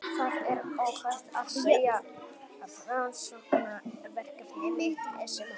Það er óhætt að segja að rannsóknarverkefni mitt sem hófst árið